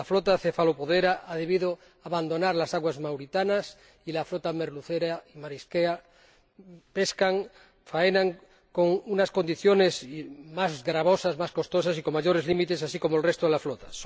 La flota cefalopodera ha debido abandonar las aguas mauritanas y las flotas merluzera y marisquera pescan, faenan en unas condiciones más gravosas, más costosas y con mayores límites, así como el resto de las flotas.